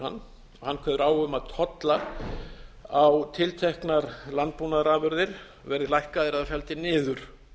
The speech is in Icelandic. hann hann kveður á um að tollar á tilteknar landbúnaðarafurðir verði lækkaðir eða felldir niður